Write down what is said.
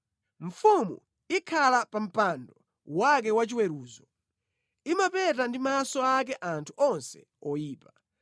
Mfumu ikhala pa mpando wake wa chiweruzo, imapeta ndi maso ake anthu onse oyipa.